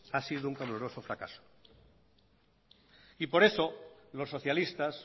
ha sido un clamoroso fracaso y por eso los socialistas